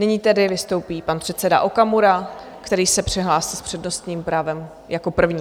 Nyní tedy vystoupí pan předseda Okamura, který se přihlásil s přednostním právem jako první.